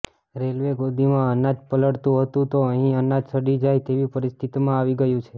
railway ગોદીમાં અનાજ પલળતું હતું તો અહીં અનાજ સડી જાય તેવી પરિસ્થિતિમાં આવી ગયું છે